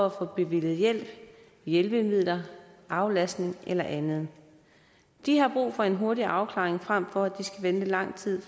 at få bevilget hjælp hjælpemidler aflastning eller andet de har brug for en hurtig afklaring frem for at de skal vente lang tid